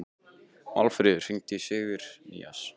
Málfríður, hringdu í Sigurnýjas.